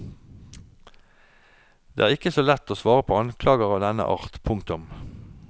Det er ikke så lett å svare på anklager av denne art. punktum